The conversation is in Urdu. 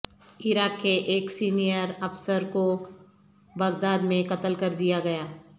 عراق کے ایک سینئر افسرکوبغدادمیں قتل کر دیا گیا